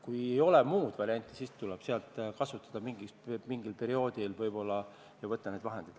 Kui ei ole muud varianti, siis tuleb seda mingil perioodil võib-olla kasutada ja võtta sealt need vahendid.